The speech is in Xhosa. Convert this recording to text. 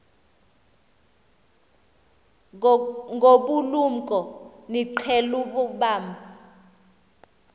ngobulumko niqhel ukubamb